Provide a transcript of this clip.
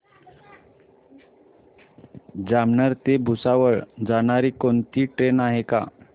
जामनेर ते भुसावळ जाणारी कोणती ट्रेन आहे का